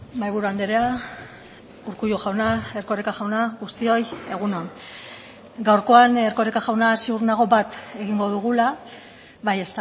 mahaiburu andrea urkullu jauna erkoreka jauna guztioi egun on gaurkoan erkoreka jauna ziur nago bat egingo dugula bai